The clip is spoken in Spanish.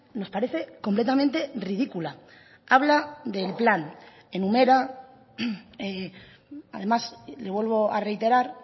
nos parece completamente ridícula habla del plan enumera además le vuelvo a reiterar